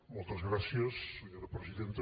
moltes gràcies senyora presidenta